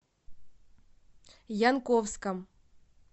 янковском